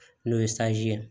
N'o ye ye